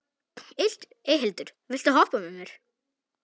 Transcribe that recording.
Eyhildur, viltu hoppa með mér?